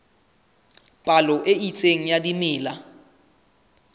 palo e itseng ya dimela